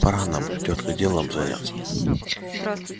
пора нам тётка делом заняться